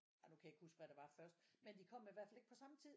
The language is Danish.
Ej nu kan jeg ikke huske hvad der var først men de kom i hvert fald ikke på samme tid